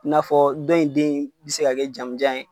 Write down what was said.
N'afɔ dɔ in den be se ka kɛ jamanjan ye